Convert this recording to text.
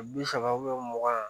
Bi saba mugan